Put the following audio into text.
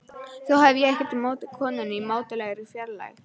Þó hef ég ekkert á móti konunni í mátulegri fjarlægð.